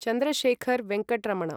Chandrashekhar Venkata Raman